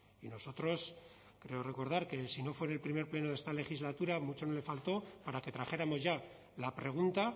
y nosotros creo recordar que si no fue en el primer pleno de esta legislatura mucho no le faltó para que trajéramos ya la pregunta